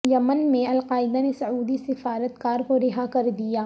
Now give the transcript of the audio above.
یمن میں القاعدہ نے سعودی سفارت کار کو رہا کر دیا